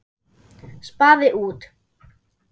Spaði út.